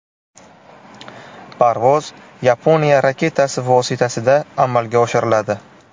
Parvoz Yaponiya raketasi vositasida amalga oshiriladi.